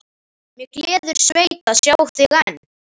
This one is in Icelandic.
mig gleður sveit að sjá þig enn.